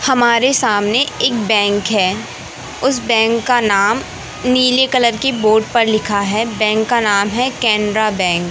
हमारे सामने एक बैंक है उस बैंक का नाम नीले कलर की बोर्ड पर लिखा है बैंक का नाम है केनरा बैंक ।